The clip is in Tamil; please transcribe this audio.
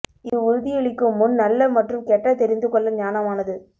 இது உறுதியளிக்கும் முன் நல்ல மற்றும் கெட்ட தெரிந்து கொள்ள ஞானமானது